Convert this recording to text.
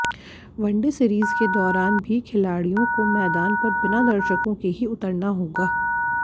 one day series के दौरान भी खिलाड़ियों को मैदान पर बिना दर्शकों के ही उतरना होगा